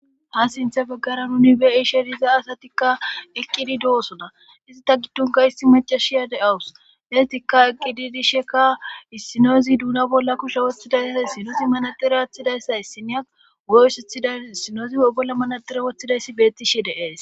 Ha siinththa baggara nuni be'ishshe diza asatikka eqqidi doosona izitta giddonka isti macashiya de'awus isstikka eqqidi dishshekka issinoozi duuna bolla kushe wottidayssay issinoozi manatire aththidayssa issinya guye oysseththadus issinoozi e bolla manatira woththidayssi bettishe de'ees